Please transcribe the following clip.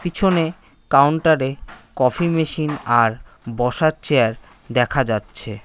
পিছনে কাউন্টারে -এ কফি মেশিন আর বসার চেয়ার দেখা যাচ্ছে।